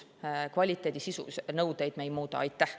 Kvaliteedinõudeid me sisult ei muuda.